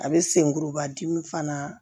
A bɛ senkuruba dimi fana